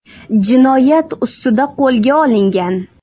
jinoyat ustida qo‘lga olingan.